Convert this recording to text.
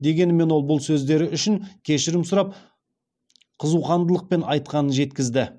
дегенімен ол бұл сөздері үшін кешірім сұрап қызуқандылықпен айтқанын жеткізді